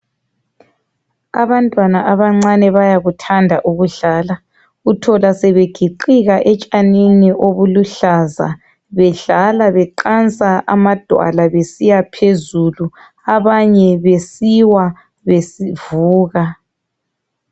Abantwana abancane bayakuthanda ukudlala. Uthola sebegiqika etshanini obuluhlaza bedlala beqansa amadwala besiya phezulu, abanye besiwa bevuka.